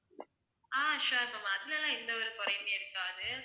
ஆஹ் sure ma'am அதுல எல்லாம் எந்த ஒரு குறையுமே இருக்காது